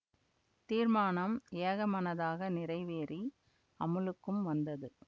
தீர்மானம் ஏகமனதாக நிறைவேறி அமுலுக்கும் வந்தது